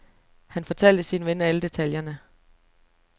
Han fortalte sin ven alle detaljerne.